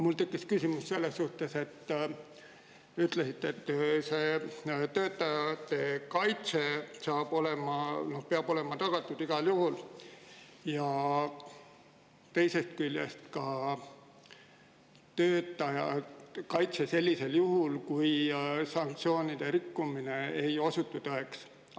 Mul tekkis küsimus selles suhtes: ütlesite, et töötajate kaitse peab olema tagatud igal juhul, töötaja kaitse ka sellisel juhul, kui sanktsioonide rikkumine ei osutu tõeks.